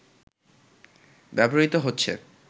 ব্যবহৃত হচ্ছে